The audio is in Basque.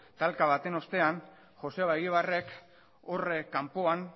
talka baten ostean joseba egibarrek hor kanpoan